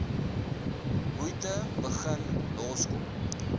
moeite begin loskom